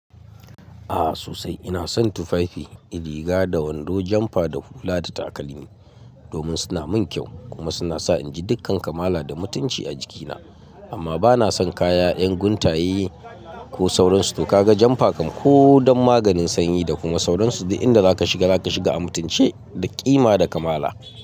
Ah sosai. Ina son tufafi, riga da wando, jamfa da hula da takalmi domin suna mun kyau kuma suna sa in ji dukkan kamala da mutunci a jikina. Amma bana son kaya in guntaye ko sauransu. To ka ga jamfa kam ko don maganin sanyi da kuma sauransu, duk inda zaka shiga zaka shiga a mutunci da ƙima da kamala.